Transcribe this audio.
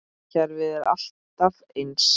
Kerfið er alltaf eins.